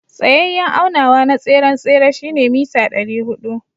Tsayayen aunawa na tseren tsere shine meter dari hudu.